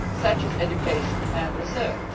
areas such as education and research.